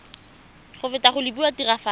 go feta go lebilwe tiragatso